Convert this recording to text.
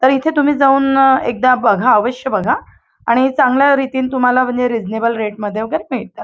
तर इथे तुम्ही जाऊन अ एकदा बघा अवश्य बघा आणि चांगल्या रितीन तुम्हाला म्हंजे रिझनेबल रेट मध्ये वगैरे मिळतात.